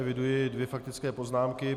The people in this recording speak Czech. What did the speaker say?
Eviduji dvě faktické poznámky.